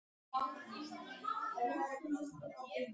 Úr sögu íslenska silfurbergsins.